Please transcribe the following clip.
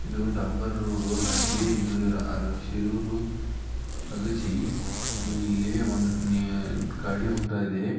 ಇದು ಡಾಂಬರ್ ರೋಡು ಹಾಗೆ ಇದು ಅ ರಾ ಶಿರೂರು ಅಗಸೀ ಇಲ್ಲೀ ಒಂದ್ ನಿ ಗಾಡಿ ಹೋಗ್ತಾ ಇದೆ.